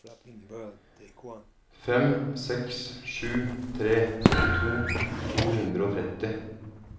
fem seks sju tre syttito to hundre og tretti